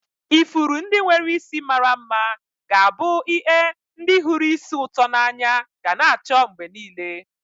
Ifuru ndị nwere isi mara mma ga-abụ ie ndị hụrụ ísì ụtọ n'anya ga n'acho mgbe niile.